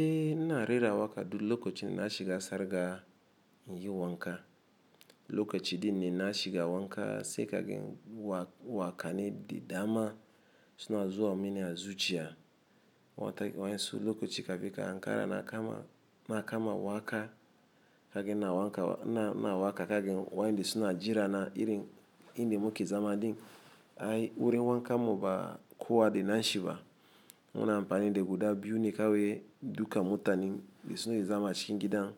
Eh ina rera waka du lokaci na shi ga sar ga yin wanka. Lokaci din ne na shi ga wanka sai kagen wa-wakane didama suna zuwa mini ya zuciya. Wata wayansu lokoci ka fi ka Ankara na kama na kama waka kagen na wanka na na waka kagen wayanda suna jira na irin indin muke zama din. Ai wurin wanka mu ba kowa de na shi ba. Muna amfani da guda biyu ne kawai duka mu tanin da suna yi zama cikin gidan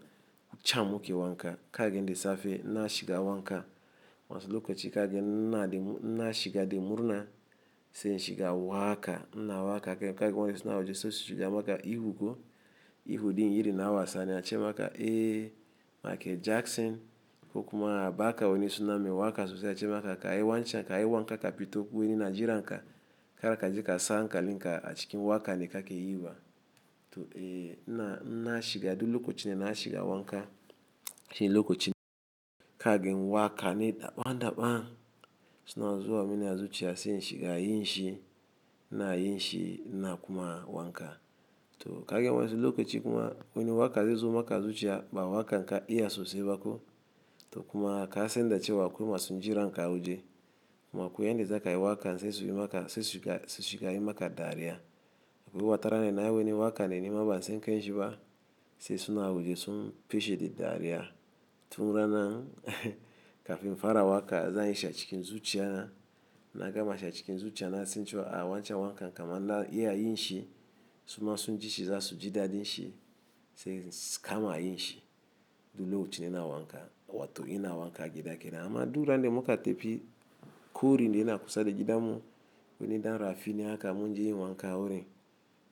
ku cham muke wanka. Kagen de safe na shi ga wanka. Wansu lokaci kagen na de mu na shi ga de murna sai shi ga waka. Na waka ken kagen wayanda suna ajiye soshiga maka ihuko. Ihu din iri na wasa ne a ce maka, "Eh, Mikel Jackson." Ko kuma ba ka wani suna mai waka sosai a ce maka ka yi wancan ka yi wanka ka fito kuneni na jira nka. Kar ka je ka sa ankalinka a cikin waka ne ka ke yiwa. To, eh, na na shi ga du lokoci ne na shi ga wanka. Shi lokoci ne kagen waka ne daban-daban suna zuwa mini ya zuciya sai shi ga yi shi. Na yi shi na kuma wanka. To kagen wayansu lokaci kuma wani waka zai zo maka zuciya ba waka nka iya sosai ba ko. To kuma ka san dace wa akwai masu jiranka waje. Makuye ne zaka yi wakan sai su yi maka sai su shiga su shiga yi maka dariya. Akwai watara ne na yi weni waka ne nima ban san kan shi ba sai suna waje sun feshe da dariya. Tun rana kafin fara waka za yi sha cikin zuciya na. Na gama sha cikin zuciya na sai in ce wa a wancan wankan kama na iya yi shi. Suma sun ji shi za su ji daɗin shi sai suka ma yi shi. Du lokoci ne na wanka. Wato ina wanka gida kenan. Amma du ran de muka tafi kori de ina kusa da gidan mu. Akwai wani ɗan rafi ne aka mun je yin wanka wurin.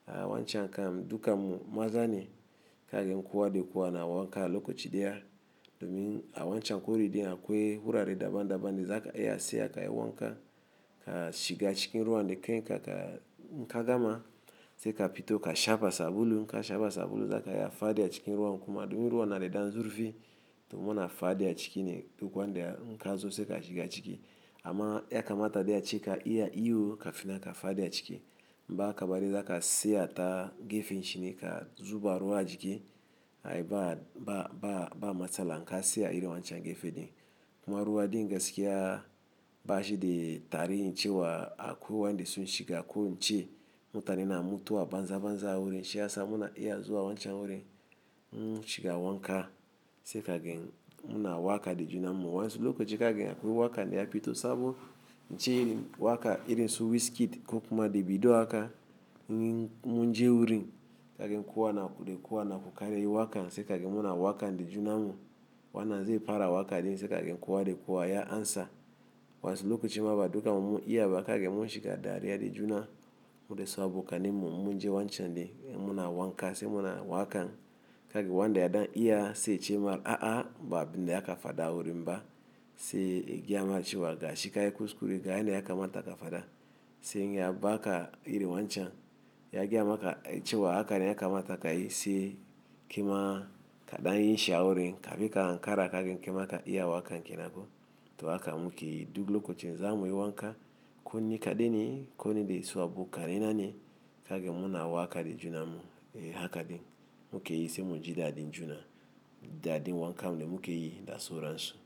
A wancan kam dukamu maza ne kagen kowa de kowa na wanka lokoci daya. Domin a wancan kori din akwai hurare daban-daban da za ka iya seya ka yi wanka. Ka shiga cikin ruwan de kanka inka gama sai ka fito ka shafa sabulu. INka shafa sabulu zaka iya fadi a cikin ruwan kuma domin ruwan na da ɗan zurfi to muna fadi a ciki ne duk wanda inka zo sai ka shiga ciki. Amma ya kamata de a ce ka iya iyo kafin na ka fadi a ciki. Inba haka bari zaka siya ta gefen shi ne ka zuba ruwa a jiki. Ai ba ba ba ba matsala inka siya iri wancan gefe din. Kuma ruwa din gaskiya ba shi de tari in ce wa a koyi wayanda sun shiga koyi ce. Mu tane na mutu a banza banza wurin shi ya sa muna iya zuwa wancan wurin mun shiga wanka. Sai kagen muna waka de juna mu. Wansu lokaci kagen akwai waka ne ya fito sabo. Ince iri waka iri su Wizkid ko kuma Davido aka mun munje wurin kagen kowa na de kowa na ku kare wakan. Sai kagen muna waka de juna mu. Wannan zai fara waka din sai kagen kowa de kowa ya amsa. Wansu lokaci ma ba duka mu mu iya ba kagen mun shiga dariya de juna. Mu dai sabo kanin mu munje wancan de muna wanka sai muna wakan. Kagen wanda ya ɗan iya sai ce maka, "A'a, ba abin da aka fada a wurin ba." Sai ya gayama ce wa ga shi ka yi kuskure ga yana ya kamata ka fada. Sai in ya ba ka iri wancan ya gaya maka ce wa haka ne ya kamata ka yi sai ki ma kaɗa yin sha wurin. Ka fi ka Ankara kagen kai maka iya wakan kenan ko. To haka muke yi duk lokacin za mu yi wanka. Kunni kaɗai ne kuni dasu abokai na ne kagen muna waka de juna mu. Eh haka din muke yi sai mun ji daɗin juna daɗin wankan mu ne muke yi da sauran su.